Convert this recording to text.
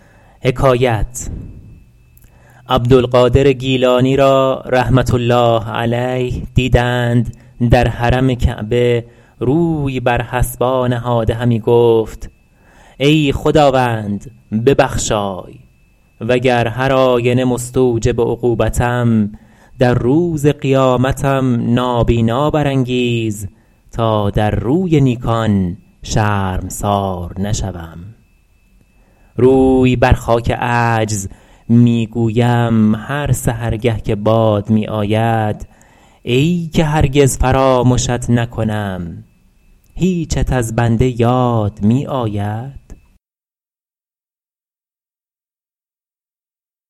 عبدالقادر گیلانی را رحمة الله علیه دیدند در حرم کعبه روی بر حصبا نهاده همی گفت ای خداوند ببخشای وگر هرآینه مستوجب عقوبتم در روز قیامتم نابینا برانگیز تا در روی نیکان شرمسار نشوم روی بر خاک عجز می گویم هر سحرگه که باد می آید ای که هرگز فرامشت نکنم هیچت از بنده یاد می آید